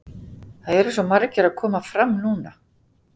Það eru svo margir að koma fram núna.